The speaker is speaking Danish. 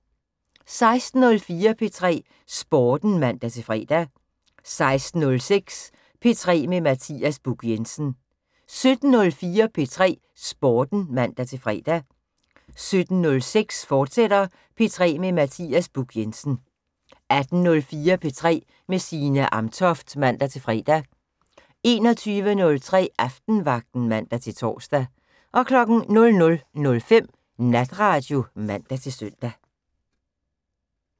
16:04: P3 Sporten (man-fre) 16:06: P3 med Mathias Buch Jensen 17:04: P3 Sporten (man-fre) 17:06: P3 med Mathias Buch Jensen, fortsat 18:04: P3 med Signe Amtoft (man-fre) 21:03: Aftenvagten (man-tor) 00:05: Natradio (man-søn)